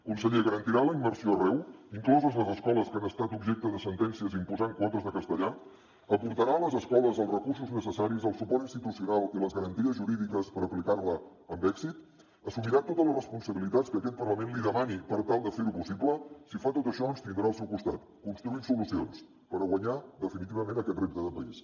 conseller garantirà la immersió arreu incloses les escoles que han estat objecte de sentències imposant quotes de castellà aportarà a les escoles els recursos necessaris el suport institucional i les garanties jurídiques per aplicar la amb èxit assumirà totes les responsabilitats que aquest parlament li demani per tal de fer ho possible si fa tot això ens tindrà al seu costat construint solucions per guanyar definitivament aquest repte de país